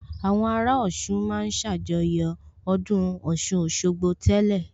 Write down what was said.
Àwọn ará Ọ̀ṣun ma ń ṣàjọyọ̀ ọdún Ọ̀ṣun Òṣogbo tẹ́lẹ̀